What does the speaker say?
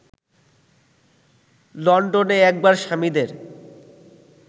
লন্ডনে একবার স্বামীদের